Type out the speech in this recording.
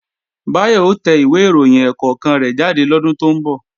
Báyọ̀ ó tẹ ìwé ìròyìn ẹ̀ẹ̀kọ̀kan rẹ̀ jáde lọ́dún tó ń bọ̀